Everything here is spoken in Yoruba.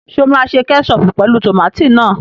Ṣé o máa ṣe kẹ́ṣọọ̀pù pẹ̀lú tòmátì náà?